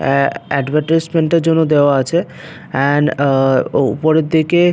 আ advertisement -এর জন্য দেওয়া আছে এন্ড আ উ উপরের দিকে--